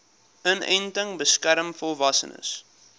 inenting beskerm volwassenes